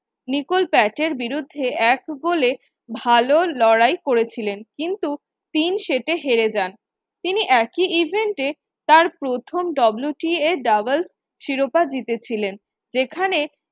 Nicole পার্কের বিরুদ্ধে এক goal এ ভাল লড়াই করেছিলেন। কিন্তু তিন set এ হেরে যান। তিনি একই event এ তার প্রথম WTAdoubles শিরোপা জিতেছিলেন যেখানে